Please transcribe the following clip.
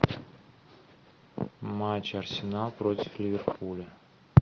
матч арсенал против ливерпуля